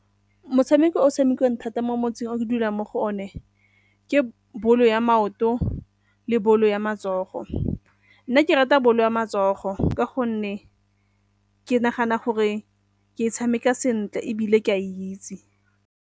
Motshameko o tshamekiwang thata mo motseng o ke dulang mo go one, ke bolo ya maoto le bolo ya matsogo. Nna ke rata bolo ya matsogo ka gonne ke nagana gore ke e tshameka sentle ebile ke a e itse.